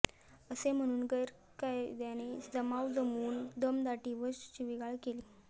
असे म्हणून गैर कायद्याने जमाव जमवून दमदाटी व शिवीगाळ केली